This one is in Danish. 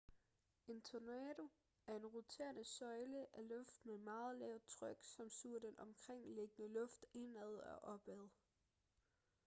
en tornado er en roterende søjle af luft med meget lavt tryk som suger den omkringliggende luft indad og opad